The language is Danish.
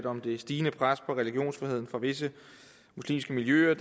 om det stigende pres på religionsfriheden fra visse muslimske miljøer